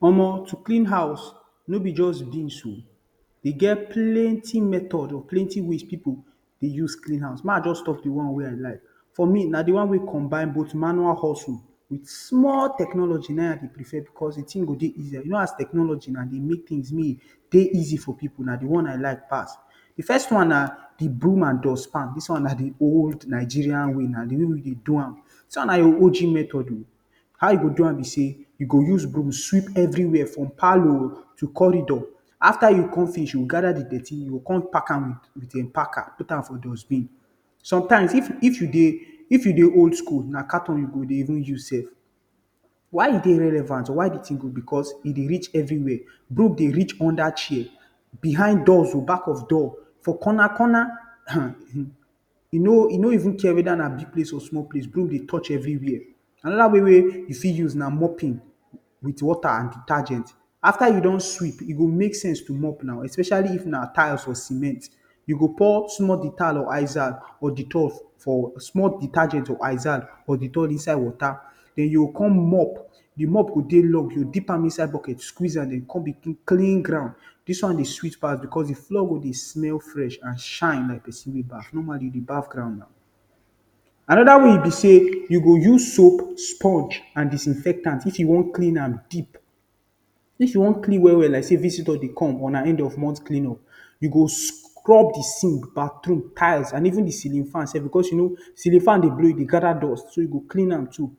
Omo to clean house no be just beans o, dey get plenty method or plenty ways people dey use clean house. Make I just talk the one wey I like, for me na de one wey combine both manual hustle with small technology na im me I dey prefer because de thing go dey easier you know as technology dey make things may e dey easy for people na de one I like pass. De first one na the broom and dust pan, dis one na the old Nigerian way na the way we dey do am, this one na the O.G method o, how you go do am be sey you go sweep everywhere from parlour o to corridor after you come finish you go gather the dirty, you go come pack am with packer put am for dustbin. Sometimes if if you dey if you dey old-school na carton you go dey even use sef. Why e dey relevant or why de thing good na because e dey reach everywhere, broom dey reach under chair, behind doors o, back of door for corner-corner. um e no even care sey na big or small place broom dey touch everywhere. Another way wey you fit use na mopping with water and detergent. After you don sweep, e go make sense to mop now especially if na tile or cement, you go pour small Dettol or Izal or dettol for small detergent or izal or dettol inside water then you go com mop, the mop go dey long you go deep am inside bucket squeeze dey come begin clean ground, dis one dey sweet pass because de floor go dey smell fresh and shine like person wey baff normally you dey baff ground na. Another way be sey you go use soap, sponge and disinfectant if you wan clean am deep. If you wan clean well well like sey visitor dey come or na end of month clean up you go scrub de zinc, bathroom, tiles and even de ceiling fan sef because you know say as ceiling fan dey blow e dey gather dust so you go clean am too.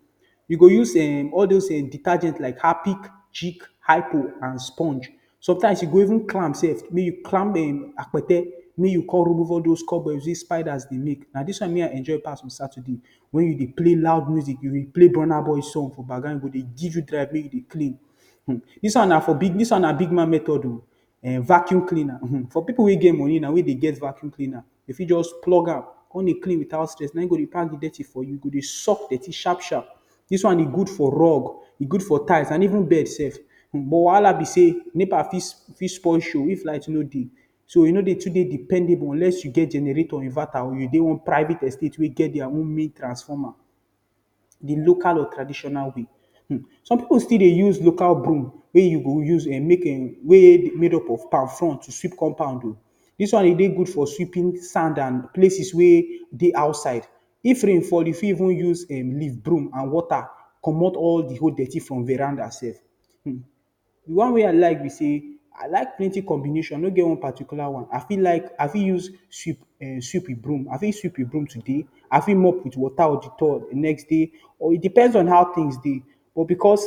You go use um all those um detergents like Harpic, Jik, Hypo and sponge. Sometimes you go even climb sef, make you climb akpete make you con remove all those cobwebs wey spiders dey make. Na dis one me I enjoy pass for Saturday wen you dey play loud music, play Burna boy song for background, e go dey give you drive make you dey clean. um dis one na for, dis one na big man method o. Vacuum cleaner, for pipul wey get money wey dem get vacuum cleaner, dey fit just plug am con dey clean without stress na im go dey pack the dirty for you e go dey suck the dirty sharp-sharp. Dis one e good for rug, tiles and even bed sef, but the wahala be sey NEPA fit spoil show if light no dey, so e no dey too dey dependable unless you get generator, inverter or you dey one private estate wey get their own main transformer. De local or traditional way um, some pipul still dey use local broom wey dey make up from palm front to sweep compound o, dis one e dey good for sweeping sand and places wey dey outside. If rain fall, you fit even use um leaf broom and water comot all de dirty for verander sef um. De one wey I like be say, I like plenty combination I no get one particular one, I fit like, I fit use sweep um sweep with broom, i fit sweep with broom today, I fit mop with water or Dettol de next day. Or e depends on how things dey but because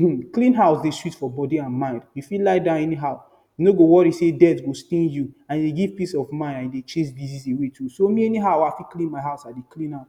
um to clean house dey sweet for body and mind, you fit lay down anyhow. You no go worry say dirt go stain you and you get peace of mind and e dey chase disease away too. So me na anyhow I fit clean my house I dey clean am.